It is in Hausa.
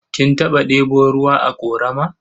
Kin taɓa ɗebo ruwa a ƙorama?